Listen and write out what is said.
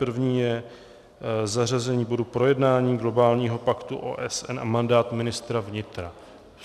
První je zařazení bodu Projednání globálního paktu OSN a mandát ministra vnitra.